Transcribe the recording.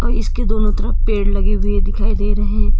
जिसके दोनों तरफ पेड़ लगे हुए दिखाई दे रहें।